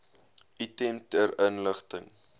item ter inligting